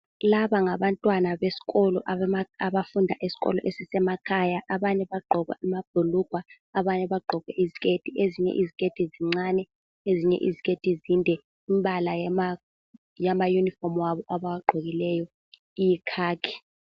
Labangabantwana besikolo abafunda esikolo esisemakhaya abanye bagqoke amabhulugwe abanye bagqoke iziketi, ezinye iziketi zincane ezinye iziketi zinde imbala yamayunifomu abo abawagqokileyo iyikhakhi.